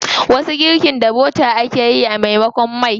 Wasu girkin da bota ake yi a maimakon mai.